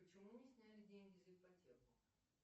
почему не сняли деньги за ипотеку